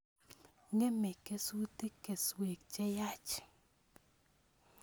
Ng'emei kesutik keswek che yaach